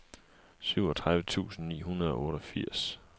syvogtredive tusind ni hundrede og otteogfirs